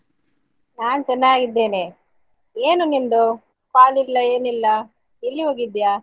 ನಾನ್ ಚೆನ್ನಾಗಿದ್ದೇನೆ. ಏನು ನಿಂದು call ಇಲ್ಲ ಏನಿಲ್ಲ ಎಲ್ಲಿ ಹೋಗಿದ್ಯಾ?